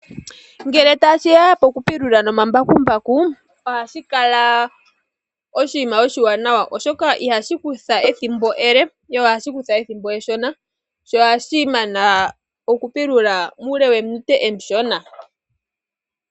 Ngele tashi ya pokupulula nomambakumbaku ohashi kala oshinima oshiwanawa. Oshoka ihashi kutha ethimbo ele ihe ohashi kutha ethimbo eshona. Sho ohashi mana okupulula muule wominute omishona.